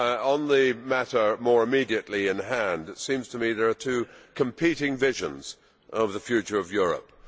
On the matter more immediately in hand, it seems to me that there are two competing visions of the future of Europe.